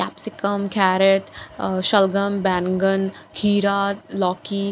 कम से कम कैरेट अह शलगम बैंगन खीरा लौकी।